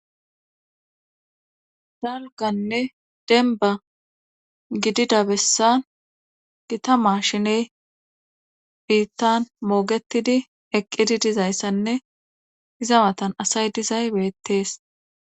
dalganne denba gidida bessan gita maashine biittan moogetidi eqqidi dizayssanne izawatan asay dizay beettees